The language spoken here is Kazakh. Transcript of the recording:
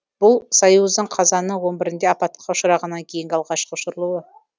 бұл союздың қазанның он бірінде апатқа ұшырағаннан кейінгі алғашқы ұшырылуы